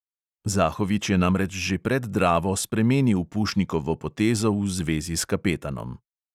Zahovič je namreč že pred dravo spremenil pušnikovo potezo v zvezi s kapetanom.